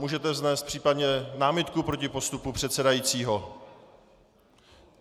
Můžete vznést případně námitku proti postupu předsedajícího.